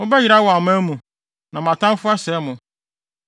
Mobɛyera wɔ aman mu, na mo atamfo asɛe mo.